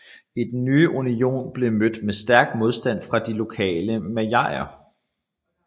Den nye union blev mødt med stærk modstand fra de lokale malajer